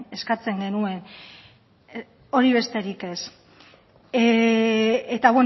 eskatzen genuen hori besterik ez eta